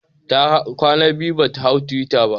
Ta kwan biyu bata hau twitter ba